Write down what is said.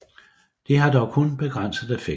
De har dog kun begrænset effekt